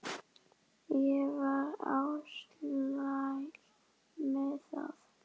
Ég var alsæl með þetta.